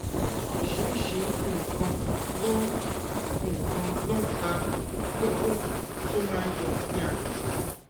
oríṣiríṣi nǹkan ló nǹkan ló ń fa kókó tó máa ń yọ ní àgbègbè náà